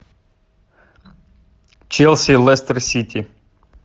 челси лестер сити